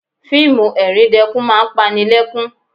Fíìmù ẹ̀ríndẹkún máa ń pani lẹ́kún